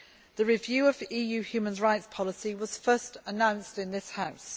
The review of EU human rights policy was first announced in this House.